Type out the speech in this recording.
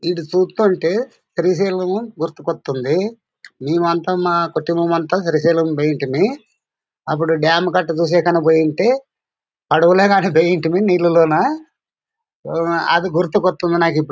ఇదా చూస్తుంటే పరిశీలనా గుర్తుకొస్తుంది. మేమెంత మా కుటుంబమంతా పరిశీలంగుంతిమి అప్పుడు డాం కట్టకు పోయుంటే పడవలో నీళ్లలోన ఓ అది గుర్తుకొట్టంది నాకు.